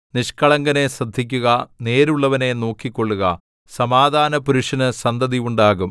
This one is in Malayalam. നിഷ്കളങ്കനെ ശ്രദ്ധിക്കുക നേരുള്ളവനെ നോക്കിക്കൊള്ളുക സമാധാനപുരുഷന് സന്തതി ഉണ്ടാകും